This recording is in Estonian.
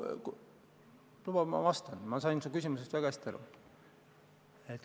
Luba ma vastan, ma sain su küsimusest väga hästi aru.